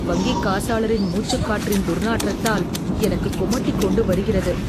வங்கிக் காசாளரின் மூச்சுக்காற்றின் துர்நாற்றத்தால் எனக்குக் குமட்டிக் கொண்டு வருகிறது.